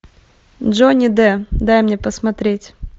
джонни д дай мне посмотреть